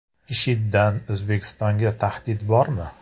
IShIDdan O‘zbekistonga tahdid bormi?